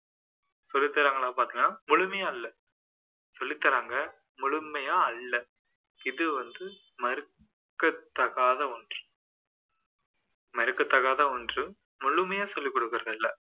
சொல்லித்தராங்கலான்னு பாத்தீங்கன்னா முழுமையா இல்ல சொல்லித்தராங்க முழுமையா அல்ல இது வந்து மறுக்கத்தகாத ஒன்று மறுக்கத்தகாத ஒன்று முழுமையா சொல்லிக்கொடுக்குறது இல்லை